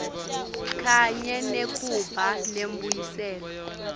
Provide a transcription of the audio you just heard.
kanye nekuba nembuyiselo